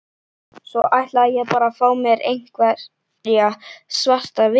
Svo ætlaði ég bara að fá mér einhverja svarta vinnu.